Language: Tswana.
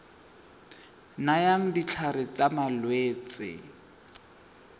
nayang ditlhare tsa malwetse le